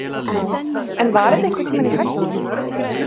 En var þetta einhvern tímann í hættu?